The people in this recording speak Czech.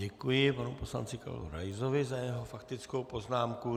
Děkuji panu poslanci Karlu Raisovi za jeho faktickou poznámku.